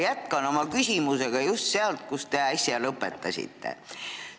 Ma jätkan oma küsimusega just sealt, kus te äsja lõpetasite.